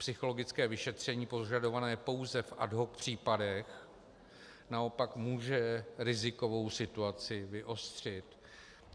Psychologické vyšetření požadované pouze v ad hoc případech naopak může rizikovou situaci vyostřit.